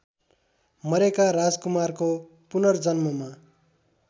मरेका राजकुमारको पुनर्जन्ममा